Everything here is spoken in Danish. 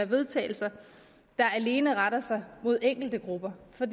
vedtagelse der alene retter sig mod enkelte grupper for